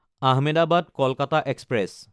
আহমেদাবাদ–কলকাতা express